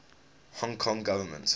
hong kong government